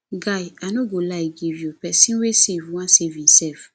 guy i no go lie give you pesin wey save wan save imself